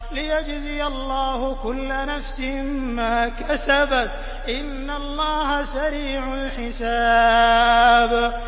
لِيَجْزِيَ اللَّهُ كُلَّ نَفْسٍ مَّا كَسَبَتْ ۚ إِنَّ اللَّهَ سَرِيعُ الْحِسَابِ